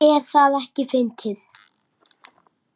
Er það ekki fyndið?